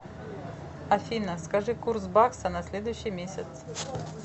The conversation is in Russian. афина скажи курс бакса на следующий месяц